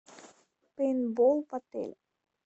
пейнтбол в отеле